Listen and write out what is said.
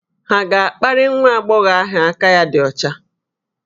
Hà ga-akparị nwa agbọghọ ahụ aka ya dị ọcha?